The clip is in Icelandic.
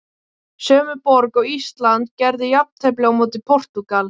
Sömu borg og Ísland gerði jafntefli á móti Portúgal.